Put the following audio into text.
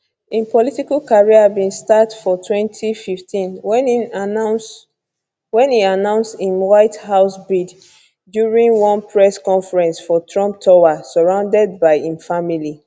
im political career bin start for 2015 wen e announce im white house bid during one press conference for trump tower surrounded by im family